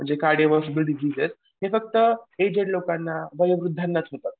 जे हे फक्त एजेड लोकांना वयोवृद्ध लोकांनाच होतात.